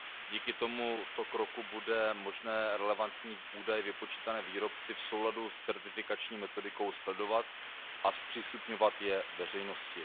Díky tomuto kroku bude možné relevantní údaje vypočítané výrobci v souladu s certifikační metodikou sledovat a zpřístupňovat je veřejnosti.